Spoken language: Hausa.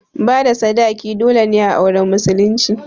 Bada sadaki dole ne a auren musulunci